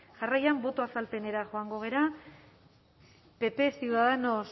jarraian boto azalpenera joango gara pp ciudadanos